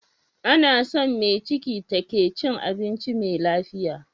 Anason me ciki take cin abinci me lafiya